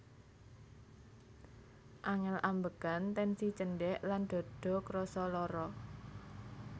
Angel ambekan tensi cendhek lan dada krasa lara